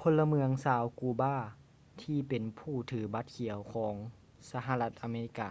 ພົນລະເມືອງຊາວ ກູບາ ທີ່ເປັນຜູ້ຖືບັດຂຽວຂອງສະຫະລັດອາເມລິກາ